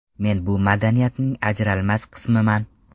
Men bu madaniyatning ajralmas qismiman.